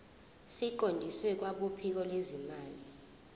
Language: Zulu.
siqondiswe kwabophiko lwezimali